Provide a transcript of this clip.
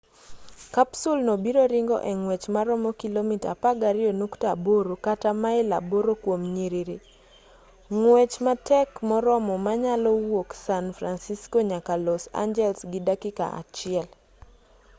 kapsul no biro ringo e ngwech maromo kilomita 12.8 kata mail 8 kuom nyiriri ng'wech matek moromo manyalo wuok san fransisco nyaka los angeles gi dakika achiel